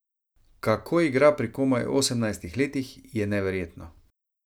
Kako igra pri komaj osemnajstih letih, je neverjetno.